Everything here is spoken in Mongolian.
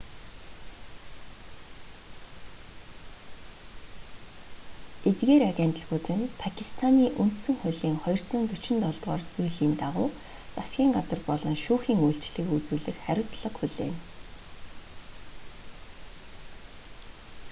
эдгээр агентлагууд нь пакистаний үндсэн хуулийн 247-р зүйлийн дагуу засгийн газар болон шүүхийн үйлчилгээг үзүүлэх хариуцлага хүлээнэ